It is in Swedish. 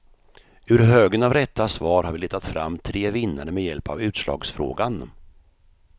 Ur högen av rätta svar har vi letat fram tre vinnare med hjälp av utslagsfrågan.